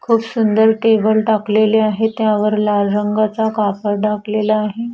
खूप सुंदर टेबल टाकलेले आहे त्यावर लाल रंगाचा कापड टाकलेला आहे.